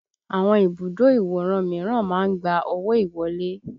Àwọn ibùdó ìwòran míràn máa ń gba owó ìwọlé